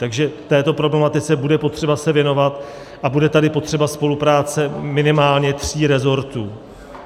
Takže této problematice bude potřeba se věnovat a bude tady potřeba spolupráce minimálně tří resortů.